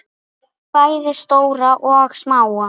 Bæði stóra og smáa.